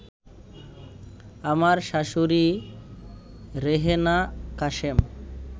আমার শাশুড়ি রেহেনা কাশেম